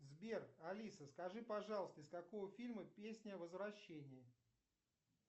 сбер алиса скажи пожалуйста из какого фильма песня возвращение